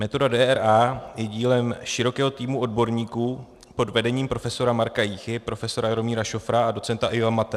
Metoda DRA je dílem širokého týmu odborníků pod vedením profesora Marka Jíchy, profesora Jaromíra Šofra a docenta Iva Mathé.